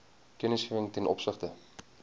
kennisgewing ten opsigte